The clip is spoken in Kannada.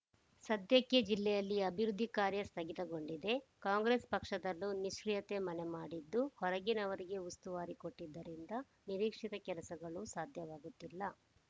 ಸದ್ಯಕ್ಕೆ ಜಿಲ್ಲೆಯಲ್ಲಿ ಅಭಿವೃದ್ಧಿ ಕಾರ್ಯ ಸ್ಥಗಿತಗೊಂಡಿದೆ ಕಾಂಗ್ರೆಸ್‌ ಪಕ್ಷದಲ್ಲೂ ನಿಷ್ಟ್ರೀಯತೆ ಮನೆ ಮಾಡಿದ್ದು ಹೊರಗಿನವರಿಗೆ ಉಸ್ತುವಾರಿ ಕೊಟ್ಟಿದ್ದರಿಂದ ನಿರೀಕ್ಷಿತ ಕೆಲಸಗಳೂ ಸಾಧ್ಯವಾಗುತ್ತಿಲ್ಲ